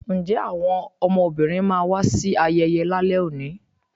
nje awọn ọmọbínrín ma wa sí ayeye lale òní?